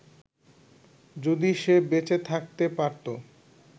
যদি সে বেঁচে থাকতে পারতো